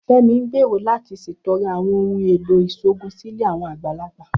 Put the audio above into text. Femi ń gbèrò láti ṣètọrẹ àwọn ohùn èlò ìṣòògùn sí ilé àwọn àgbàlagbà